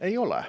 Ei ole.